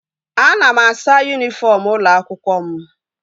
Ana m asa yunifọm ụlọ akwụkwọ m